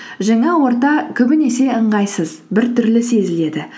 жаңа орта көбінесе ыңғайсыз біртүрлі сезіледі